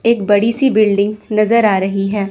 एक बड़ी सी बिल्डिंग नजर आ रही है।